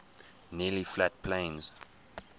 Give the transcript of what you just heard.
nearly flat plains